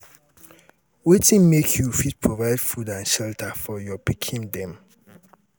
wetin make you fit provide food and shelter for your pikin dem?